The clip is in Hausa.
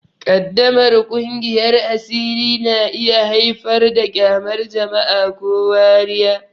Ƙaddamar kingiyar asiri na iya haifar da ƙyamar jama'a ko wariya.